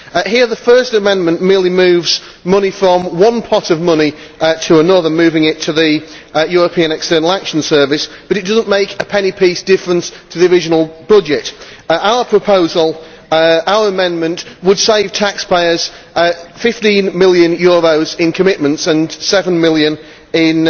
Here, the first amendment merely moves money from one pot of money to another, moving it to the European External Action Service, but it does not make a penny piece difference to the original budget. Our amendment would save taxpayers EUR 15 million in commitments and 7 million in